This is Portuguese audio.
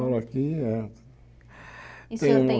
Moram aqui eh E o senhor tem